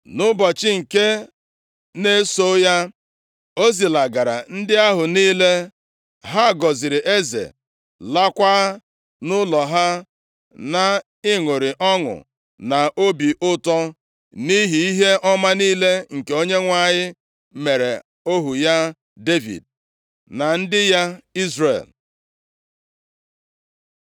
Nʼụbọchị nke na-eso ya, o zilagara ndị ahụ niile. Ha gọziri eze, laakwa nʼụlọ ha, nʼịṅụrị ọṅụ na obi ụtọ nʼihi ihe ọma niile nke Onyenwe anyị meere ohu ya Devid, na ndị ya Izrel.